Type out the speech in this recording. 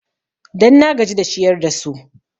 Dan na gaji da ciyar da su